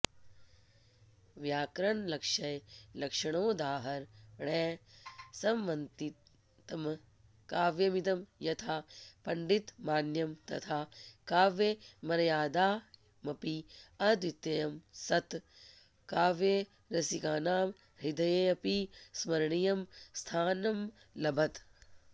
व्याकरणलक्ष्यलक्षणोदाहरणैः समन्वितम् काव्यमिदम् यथा पण्डितमान्यम् तथा काव्यमर्यादायामपि अद्वितीयम् सत् काव्यरसिकानां हृदयेऽपि स्मरणीयम् स्थानमलभत